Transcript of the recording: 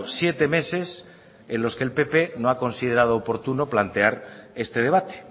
siete meses en los que el pp no ha considerado oportuno plantear este debate